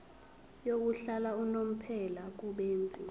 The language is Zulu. yokuhlala unomphela kubenzi